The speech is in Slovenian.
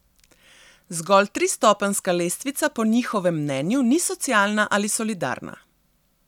Zgolj tristopenjska lestvica po njihovem mnenju ni socialna ali solidarna.